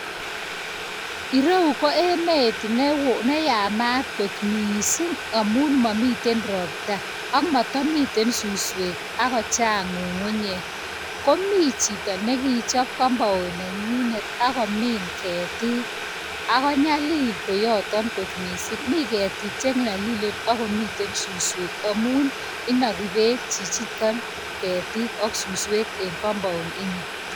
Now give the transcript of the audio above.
Reu ko emet ne yamat kot mising' amun mamiten ropta, ak mata miten suswek ago chang' ng'ung'unyek. Mi chito ne kagochap compound nenyinet ako min ketik. Nyalil koioto. Mi ketik che nyalilen ako miten suswek amun inagi peek chito ketik ak suswek en compound nenyinet.